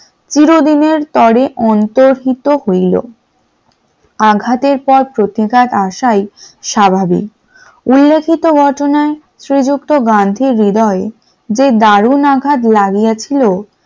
চিরদিনের তরে অন্তর হিত হইল । আঘাতের পর প্রতীক্ষ্ঘাত আসা ই স্বাভাবিক উল্লেখিত ঘটনায় বাল শ্রীযুক্ত গান্ধীজী হৃদয় দারুন আঘাত যে লাগিয়েছিল ।